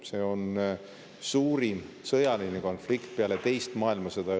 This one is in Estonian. See on suurim sõjaline konflikt Euroopas peale teist maailmasõda.